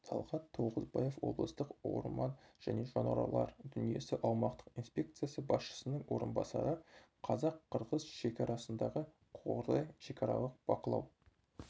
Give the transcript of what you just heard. талғат тоғызбаев облыстық орман және жануарлар дүниесі аумақтық инспекциясы басшысының орынбасары қазақ-қырғыз шекарасындағы қордай шекаралық бақылау